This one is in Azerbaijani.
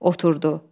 Oturddu.